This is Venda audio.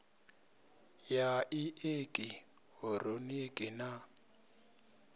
ya i eki hironiki na